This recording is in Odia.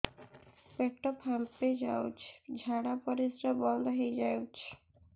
ପେଟ ଫାମ୍ପି ଯାଉଛି ଝାଡା ପରିଶ୍ରା ବନ୍ଦ ହେଇ ଯାଉଛି